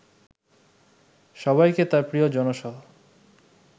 সবাইকে তার প্রিয় জনসহ